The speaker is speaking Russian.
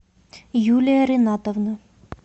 юлия ринатовна